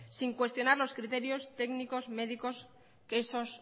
sin cuestionar los criterios técnicos médicos que esos